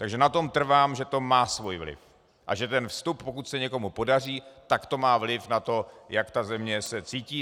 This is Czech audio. Takže na tom trvám, že to má svůj vliv a že ten vstup, pokud se někomu podaří, tak to má vliv na to, jak se ta země cítí.